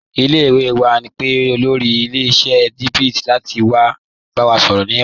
Ile-iwe wa n pe olóri ilẹ̀-iṣẹ̀ Tunbit lati wa ba wa sọrọ ni ọ̀la.